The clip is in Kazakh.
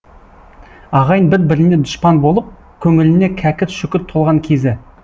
ағайын бір біріне дұшпан болып көңіліне кәкір шүкір толған кезі